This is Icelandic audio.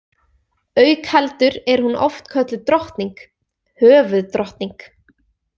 Auk heldur er hún oft kölluð drottning, höfuðdrottning